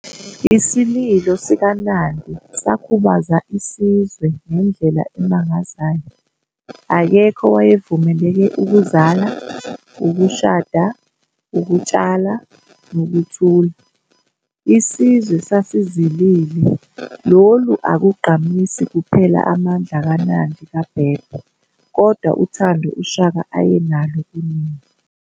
Isililo sikaNandi sakhubaza isizwe ngendlela emangazayo, akekho owayevumeleke ukuzala, ukushada, ukutshala, nokuthula. Isizwe sasizilile, lolu akugqamisi kuphela amandla kaNandi kaBhebhe kodwa uthando uShaka ayenalo kunina